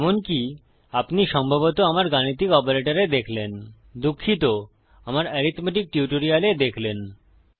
যেমনকি আপনি সম্ভবত আমার গাণিতিক অপারেটরে দেখলেন দুঃখিত আমার অরিথমেটিক টিউটোরিয়ালে দেখলেন